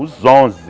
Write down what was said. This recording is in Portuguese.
Os onze.